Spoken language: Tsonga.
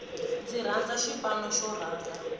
ndzi rhandza xipano xo rhanga